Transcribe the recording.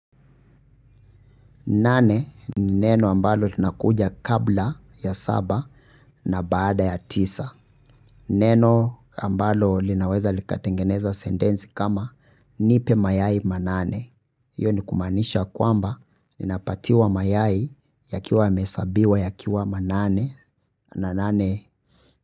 Nane ni neno ambalo linakuja kabla ya saba na baada ya tisa. Neno ambalo linaweza likatengeneza sentensi kama nipe mayai manane. Iyo ni kumaanisha kwamba ninapatiwa mayai yakiwa yamehesabiwa yakiwa manane na nane.